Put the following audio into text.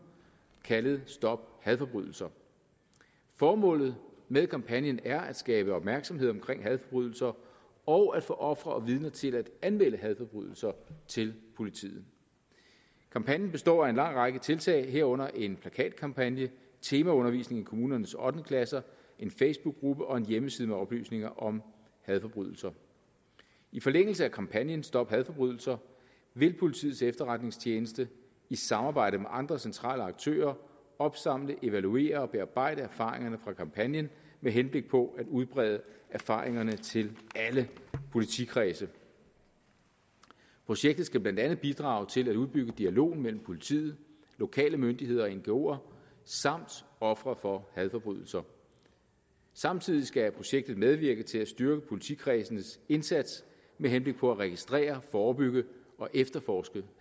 kaldet stop hadforbrydelser formålet med kampagnen er at skabe opmærksomhed omkring hadforbrydelser og at få ofre og vidner til at anmelde hadforbrydelser til politiet kampagnen består af en lang række tiltag herunder en plakatkampagne temaundervisning i kommunernes ottende klasser en facebookgruppe og en hjemmeside med oplysninger om hadforbrydelser i forlængelse af kampagnen stop hadforbrydelser vil politiets efterretningstjeneste i samarbejde med andre centrale aktører opsamle evaluere og bearbejde erfaringerne fra kampagnen med henblik på at udbrede erfaringerne til alle politikredse projektet skal blandt andet bidrage til at udbygge dialogen mellem politiet lokale myndigheder og ngoer samt ofre for hadforbrydelser samtidig skal projektet medvirke til at styrke politikredsenes indsats med henblik på at registrere forebygge og efterforske